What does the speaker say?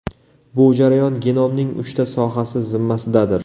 Bu jarayon genomning uchta sohasi zimmasidadir.